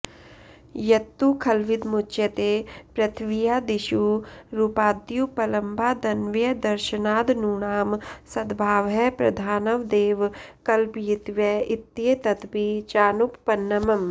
यत्तु खल्विदमुच्यते पृथिव्यादिषु रूपाद्युपलम्भादन्वयदर्शनादणूनां सद्भावः प्रधानवदेव कल्पयितव्य इत्येतदपि चानुपपन्नम्